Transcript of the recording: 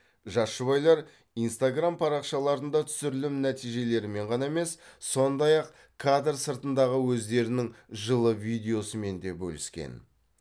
жас жұбайлар инстаграмм парақшаларында түсірілім нәтижелерімен ғана емес сондай ақ кадр сыртындағы өздерінің жылы видеосымен де бөліскен